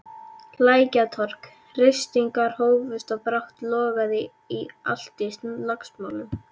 Lækjartorg, ryskingar hófust og brátt logaði allt í slagsmálum.